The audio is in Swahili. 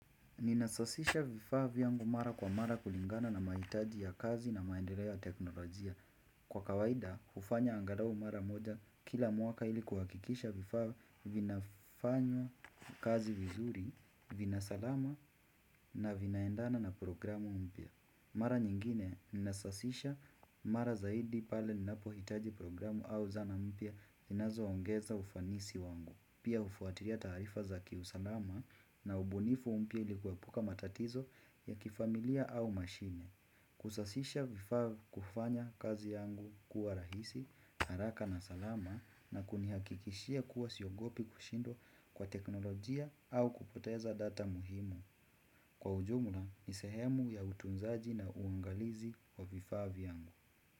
Ninasosisha vifaa vyangu mara kwa mara kulingana na mahitaji ya kazi na maendeleo ya teknolojia. Kwa kawaida, hufanya angalau mara moja kila mwaka ili kuhakikisha vifaa vinafanywa kazi vizuri, vinasalama na vinaendana na programu mpya. Mara nyingine ninasasisha mara zaidi pale ninapo hitaji programu au zana mpya zinazo ongeza ufanisi wangu Pia hufuatilia taarifa za kiusalama na ubunifu mpya ilikuepuka matatizo ya kifamilia au mashine Kusasisha vifaa vya kufanya kazi yangu kuwa rahisi, haraka na salama na kunihakikishia kuwa siogopi kushindwa kwa teknolojia au kupoteza data muhimu Kwa ujumla ni sehemu ya utunzaji na uangalizi wa vifaa vyangu.